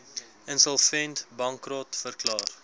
insolvent bankrot verklaar